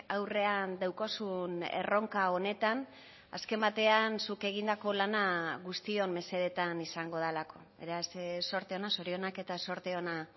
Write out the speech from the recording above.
aurrean daukazun erronka honetan azken batean zuk egindako lana guztion mesedetan izango delako beraz zorte ona zorionak eta zorte ona